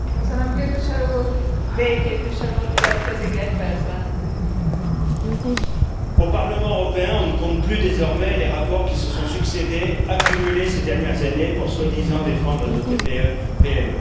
Madame la Présidente, au Parlement européen, on ne compte plus désormais les rapports qui se sont succédé, accumulés ces dernières années pour, soi disant, défendre nos TPE PME.